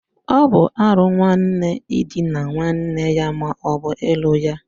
Ọ bụ árụ nwanne idina nwanne ya maọbu ịlụ ya